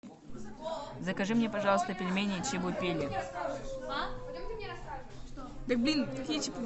закажи мне пожалуйста пельмени чебупели